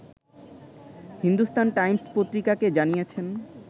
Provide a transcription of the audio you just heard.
Hindustan Times পত্রিকাকে জানিয়েছেন